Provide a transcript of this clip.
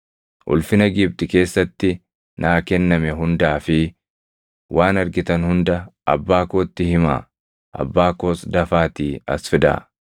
Ulfina Gibxi keessatti naa kenname hundaa fi waan argitan hunda abbaa kootti himaa. Abbaa koos dafaatii as fidaa.”